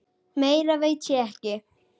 Meira veit ég ekki.